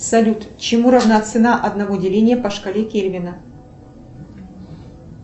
салют чему равна цена одного деления по шкале кельвина